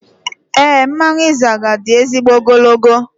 Éè, mmanwụ Izaga di ezigbo ogologo